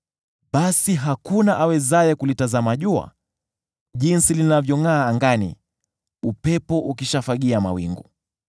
Basi hakuna awezaye kulitazama jua, jinsi linavyongʼaa angani, upepo ukishafagia mawingu.